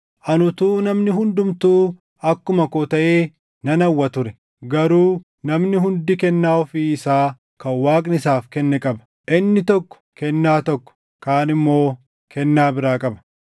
Ani utuu namni hundumtuu akkuma koo taʼee nan hawwa ture. Garuu namni hundi kennaa ofii isaa kan Waaqni isaaf kenne qaba; inni tokko kennaa tokko, kaan immoo kennaa biraa qaba.